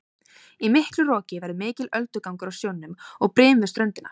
Í miklu roki verður mikill öldugangur á sjónum og brim við ströndina.